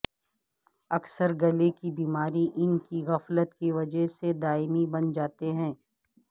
اکثر گلے کی بیماری ان کی غفلت کی وجہ سے دائمی بن جاتے ہیں